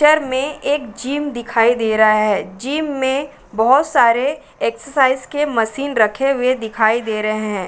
Picture में एक gym दिखाई दे रहा है। जिम में बहोत सारे एक्सरसाइज के मशीन रखे हुए दिखाई दे रहे हैं।